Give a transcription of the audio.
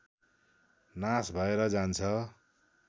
नाश भएर जान्छ